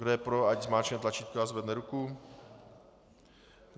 Kdo je pro, ať zmáčkne tlačítko a zvedne ruku.